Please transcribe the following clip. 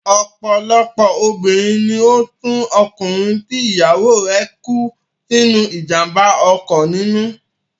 Ọ̀pọ̀lọpọ̀ obìnrin ni ó tú ọkùnrin tí ìyàwó rẹ̀ kú sínú ìjàmbá ọkọ̀ nínú.